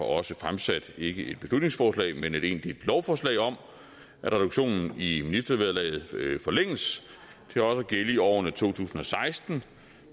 også fremsat ikke et beslutningsforslag men et egentligt lovforslag om at reduktionen i ministervederlaget forlænges til også at gælde i årene to tusind og seksten